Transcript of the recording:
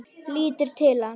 Lítur til hans.